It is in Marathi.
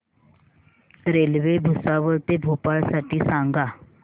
रेल्वे भुसावळ ते भोपाळ साठी सांगा